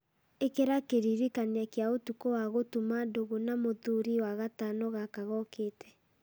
ĩkĩra kĩririkania kĩa ũtukũ wa gũtuma ndũgũ na mũthuri wagatano gaka gookĩte